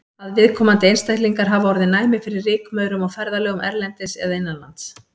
Að viðkomandi einstaklingar hafi orðið næmir fyrir rykmaurum á ferðalögum erlendis eða innanlands.